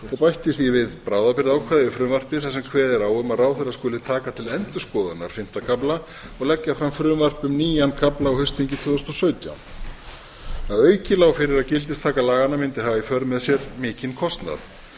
og bætti því við bráðabirgðaákvæði við frumvarpið þar sem kveðið er á um að ráðherra skuli taka til endurskoðunar fimmta kafla og leggja fram frumvarp um nýjan kafla á haustþingi tvö þúsund og sautján að auki lá fyrir að gildistaka laganna mundi hafa í för með sér mikinn kostnað